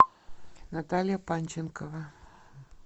наталья панченкова